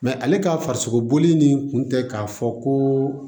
ale ka farisogo bɔli nin kun tɛ k'a fɔ ko